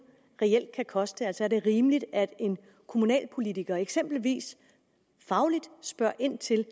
reelt kan koste altså er det rimeligt at en kommunalpolitiker eksempelvis fagligt spørger ind til